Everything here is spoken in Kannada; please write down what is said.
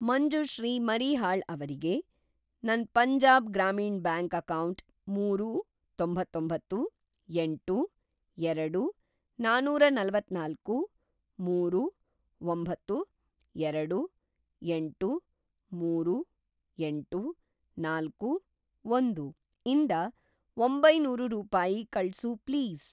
ಮಂಜುಶ್ರೀ ಮರೀಹಾಳ್ ಅವ್ರಿಗೆ ನನ್‌ ಪಂಜಾಬ್‌ ಗ್ರಾಮೀಣ್‌ ಬ್ಯಾಂಕ್ ಅಕೌಂಟ್‌ ಮೂರು, ತೊಂತ್ತೊಂಬತ್ತು, ಎಂಟು, ಎರಡು ನಾನೂರನಲವತ್ತನಾಲ್ಕು, ಮೂರು, ಒಂಬತ್ತು, ಎರಡು, ಎಂಟು, ಮೂರು, ಎಂಟು, ನಾಲ್ಕು, ಒಂದು ಇಂದ ಒಂಬೈನೂರು ರೂಪಾಯಿ ಕಳ್ಸು ಪ್ಲೀಸ್.